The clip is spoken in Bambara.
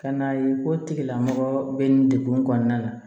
Ka na ye ko tigilamɔgɔ bɛ nin degun kɔnɔna na